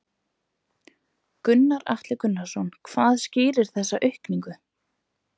Gunnar Atli Gunnarsson: Hvað skýrir þessa aukningu?